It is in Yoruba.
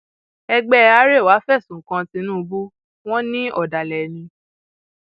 ẹgbẹ arẹwà fẹsùn kan tìǹbù wọn ní ọdàlẹ ni